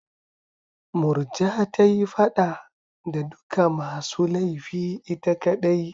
Murja ta yi fada da duka masu laifi ita kaɗai.